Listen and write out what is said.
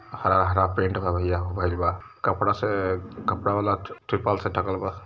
हरा हरा पेंट में हो गइल बा कपड़ा से कपड़ा वाला तिरपाल से ढकल बा।